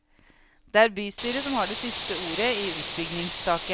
Det er bystyret som har det siste ordet i utbyggingssaken.